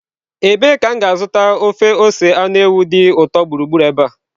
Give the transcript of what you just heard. Ebee ka m ga-azụta ofe ose anụ ewu dị ụtọ gburugburu ebe a?